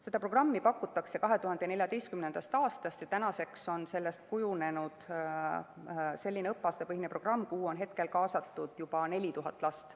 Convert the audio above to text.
Seda programmi pakutakse 2014. aastast ja sellest on kujunenud õppeaastapõhine programm, kuhu on kaasatud juba 4000 last.